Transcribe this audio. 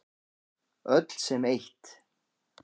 Öll sem eitt.